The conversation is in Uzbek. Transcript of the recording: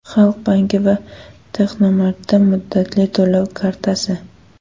Xalq banki va Texnomart’dan muddatli to‘lov kartasi.